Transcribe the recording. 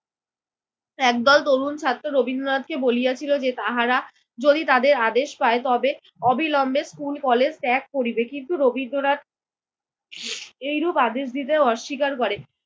একদল তরুণ ছাত্র রবীন্দ্রনাথকে বলিয়াছিল যে, তাহারা যদি তাদের আদেশ পায় তবে অবিলম্বে স্কুল-কলেজ ত্যাগ করিবে। কিন্তু রবীন্দ্রনাথ এইরূপ আদেশ দিতে অস্বীকার করেন।